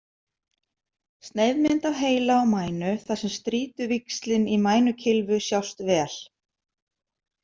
Sneiðmynd af heila og mænu, þar sem strýtuvíxlin í mænukylfu sjást vel.